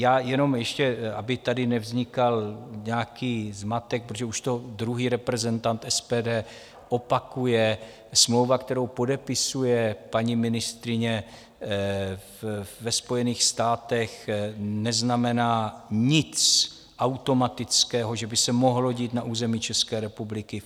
Já jenom ještě, aby tady nevznikal nějaký zmatek, protože už to druhý reprezentant SPD opakuje: smlouva, kterou podepisuje paní ministryně ve Spojených státech, neznamená nic automatického, že by se mohlo dít na území České republiky.